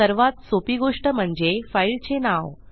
सर्वात सोपी गोष्ट म्हणजे फाईलचे नाव